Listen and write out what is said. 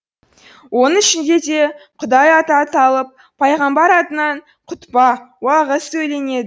оның ішінде де құдай аты аталып пайғамбар атынан құтпа уағыз сөйленед